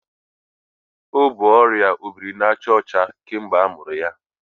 O bu ọrịa obirinajaọcha kemgbe amụrụ ya.